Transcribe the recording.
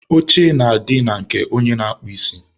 oche na-adị na nke onye na-akpụ isi.